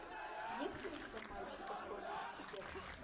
есть ли у тебя мальчик по прозвищу стерва